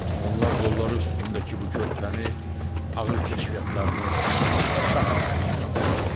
Onlar qolları üstündəki bu körpəni ağır kəşfiyyatlarının şah əsəri kimi aparırlar.